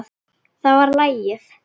Það var lagið!